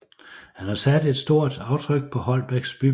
Han har sat et stort aftryk på Holbæks bybillede